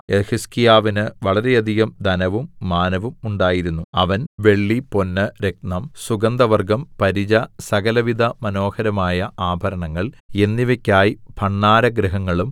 യെഹിസ്കീയാവിന് വളരെയധികം ധനവും മാനവും ഉണ്ടായിരുന്നു അവൻ വെള്ളി പൊന്ന് രത്നം സുഗന്ധവർഗ്ഗം പരിച സകലവിധ മനോഹരമായ ആഭരണങ്ങള്‍ എന്നിവയ്ക്കായി ഭണ്ഡാരഗൃഹങ്ങളും